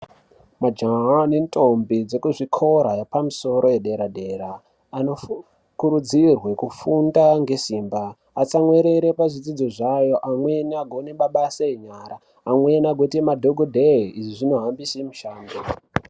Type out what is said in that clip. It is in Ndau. Majaha nendombi dzekuzvikora yepamusoro yedera dera, anokurudzirwa kufunda ngesimba. Atsamwirire pazvidzidzo zvavo amweni agone mabasa enyara. Amweni agoita madhokodheya izvi zvinohambisa mushando.